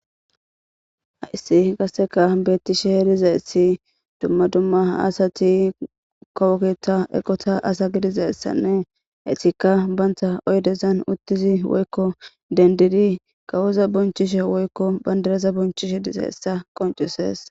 hayssi qasseka bettishe dizayssi dumma dumma asati kowo keta eqota asa gidizassanne hetika banta oydezan uttizi woykko dendidi kawoza bonchishe woykko bandareza bonchishe dizayssa qoncusees.